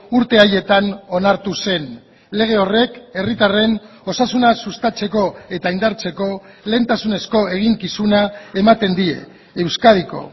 urte haietan onartu zen lege horrek herritarren osasuna sustatzeko eta indartzeko lehentasunezko eginkizuna ematen die euskadiko